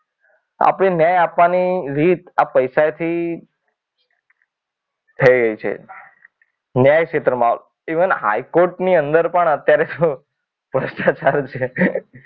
આપણે ન્યાય આપવાની રીત આપણી ન્યાય આપવાની રીત આ પૈસાથી થઈ રહી છે ન્યાય ક્ષેત્રમાં ઇવન હાઈકોર્ટ ની અંદર પણ હવે તો ભ્રષ્ટાચાર છે.